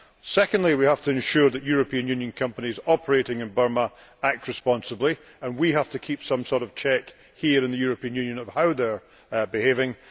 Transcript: Secondly, we have to ensure that European Union companies operating in Burma act responsibly, and we have to keep some sort of check here in the European Union on how they are behaving.